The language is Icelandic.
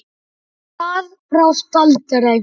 Það brást aldrei.